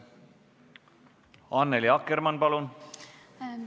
Annely Akkermann, palun!